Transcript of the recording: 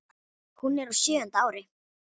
Hún er á sjöunda ári